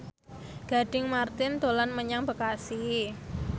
Gading Marten dolan menyang Bekasi